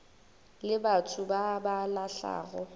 le batho ba ba lahlago